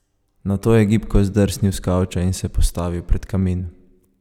Nato je gibko zdrsnil s kavča in se postavil pred kamin.